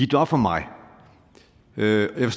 det op for mig og jeg